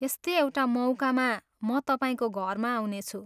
यस्तै एउटा मौकामा म तपाईँको घरमा आउनेछु।